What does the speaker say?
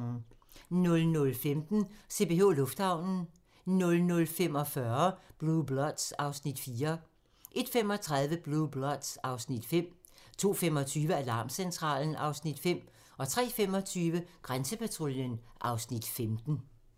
00:15: CPH Lufthavnen 00:45: Blue Bloods (Afs. 4) 01:35: Blue Bloods (Afs. 5) 02:25: Alarmcentralen (Afs. 5) 03:25: Grænsepatruljen (Afs. 15)